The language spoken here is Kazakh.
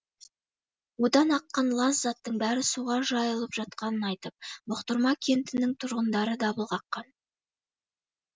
одан аққан лас заттың бәрі суға жайылып жатқанын айтып бұқтырма кентінің тұрғындары дабыл қаққан